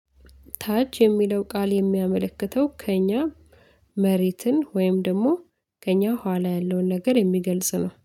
ታች የሚለው ቃል የሚያመለክተው ከእኛ መሬትን ወይም ደግሞ ከእኛ ኋላ ያለውን ነገር የሚገልጽ ነው